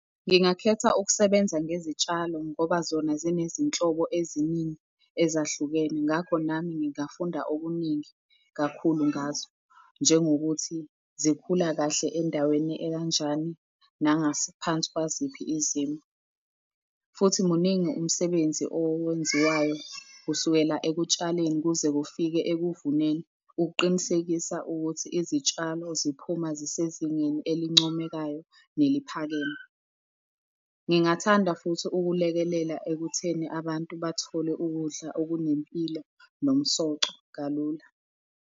Ngingakhetha ukusebenza ngezitshalo ngoba zona zinezinhlobo eziningi ezahlukene. Ngakho nami ngingafunda okuningi kakhulu ngazo. Njengokuthi zikhula kahle endaweni ekanjani, nangaphansi kwaziphi izimo, futhi muningi umsebenzi owenziwayo kusukela ekutshaleni, kuze kufike ekuvuneni ukuqinisekisa ukuthi izitshalo ziphuma zisezingeni elincomekayo neliphakeme. Ngingathanda futhi ukulekelela ekutheni abantu bathole ukudla okunempilo nomsoco kalula.